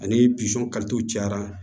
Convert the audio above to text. Ani cayara